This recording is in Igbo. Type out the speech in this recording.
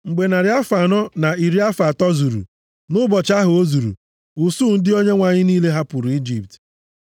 Mgbe narị afọ anọ na iri afọ atọ zuru, nʼụbọchị ahụ o zuru, usuu ndị Onyenwe anyị niile hapụrụ Ijipt.